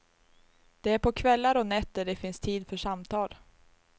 Det är på kvällar och nätter det finns tid för samtal.